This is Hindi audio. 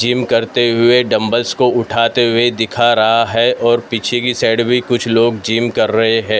जिम करते हुए डंबल्स को उठाते हुए दिखा रहा हैं और पीछे की साइड भी कुछ लोग जिम कर रहे हैं ।